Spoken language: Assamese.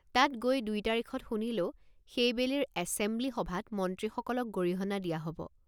তাত গৈ দুই তাৰিখত শুনিলোঁ সেইবেলিৰ এছেমব্লি সভাত মন্ত্ৰীসকলক গৰিহণা দিয়া হ'ব।